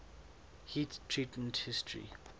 heat treatment history